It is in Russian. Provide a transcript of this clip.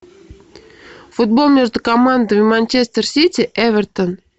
футбол между командами манчестер сити эвертон